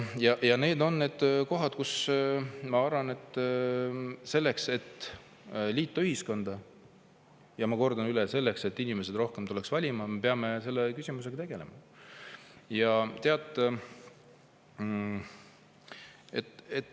Need on need kohad, mille pärast ma arvan, et selleks, et liita ühiskonda ja selleks, et rohkem inimesi tuleks valima, me peame selle küsimusega tegelema.